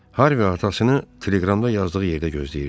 Harvi atasını teleqramda yazdığı yerdə gözləyirdi.